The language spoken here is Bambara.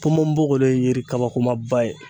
Ponbonbogoro ye yiri kabakomaba ye.